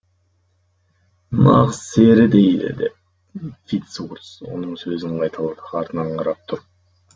нағыз сері дейді деп фиц урс оның сөзін қайталады артынан қарап тұрып